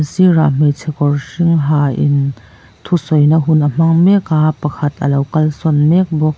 sirah hmeichhe kawr hring ha in thusawina hun a hma ng mek a pakhat a lo kal sawn mek bawk.